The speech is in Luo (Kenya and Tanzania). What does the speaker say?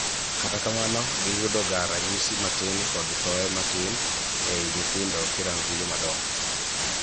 Kata kamano giyudoga ranyisi matin kod thoe matin ei nyithindo kirango gi joma dongo.